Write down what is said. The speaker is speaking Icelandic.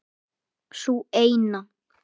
Sú eina!